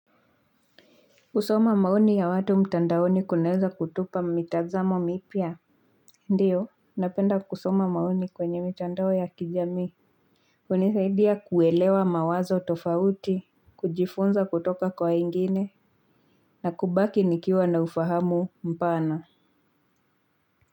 Kusoma maoni ya watu mtandaoni kunaeza kutupa mitazamo mipya. Ndiyo, napenda kusoma maoni kwenye mitandao ya kijamii hunisaidia kuelewa mawazo tofauti. Kujifunza kutoka kwa wengine na kubaki nikiwa na ufahamu mpana.